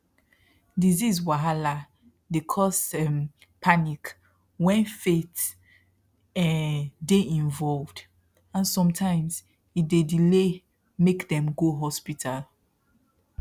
disease wahala dey cause um panic when faith um dey involved and sometimes e dey delay make dem go hospital